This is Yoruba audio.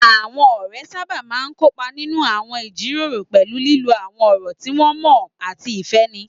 Àwọn ọ̀rẹ́ sábà máa ń kópa nínú àwọn ìjíròrò pẹ̀lú lílo àwọn ọ̀rọ̀ tí wọ́n mọ̀ ọ́n àti ìfẹ́ni